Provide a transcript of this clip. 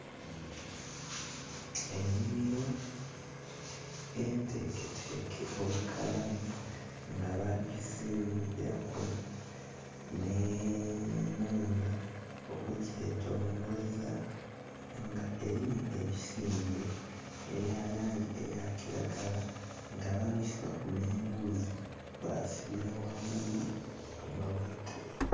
Enhimilo enteeketeeke obukalamu nga baagizimbilaku nh'enhumba okugyetolooza, nga elimu ebisimbe ebya langi eya kiragala nga babisibaku nh'eghuzi basibila ghangulu ya mabaati.